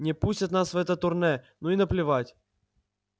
не пустят нас в это турне ну и наплевать